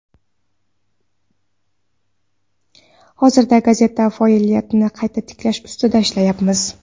Hozirda gazeta faoliyatini qayta tiklash ustida ishlayapmiz.